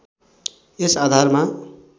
यस आधारमा